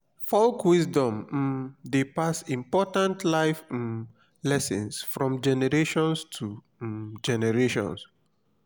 folk wisdom um dey pass important life um lessons from generation to um generation.